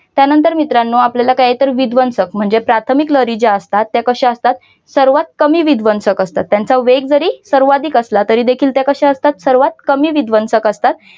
त्यानंतर मित्रानो आपल्याला काय आहे तर विध्वंसक म्हणजे प्राथमिक लहरी ज्या असतात त्या कशा असतात सर्वात कमी विध्वंसक असतात त्यांचा वेग जरी सर्वाधिक असला तरी देखील त्या कशा असतात सर्वात कमी विध्वंसक असतात.